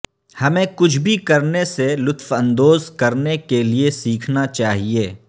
ہمیں کچھ بھی کرنے سے لطف اندوز کرنے کے لئے سیکھنا چاہئے